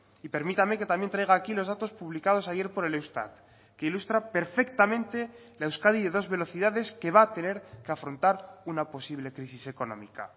y permítame que también traiga aquí los datos publicados ayer por el eustat que ilustra perfectamente la euskadi de dos velocidades que va a tener que afrontar una posible crisis económica